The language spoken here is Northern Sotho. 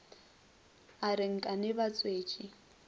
a re nkane ba thwetše